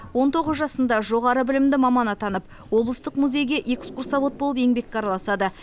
он тоғыз жасында жоғары білімді маман атанып облыстық музейге экскурсовод болып еңбекке араласады